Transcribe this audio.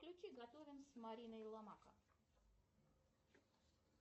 включи готовим с мариной ломака